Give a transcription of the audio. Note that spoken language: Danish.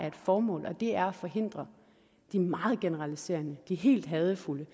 et formål og det er at forhindre det meget generaliserende det helt hadefulde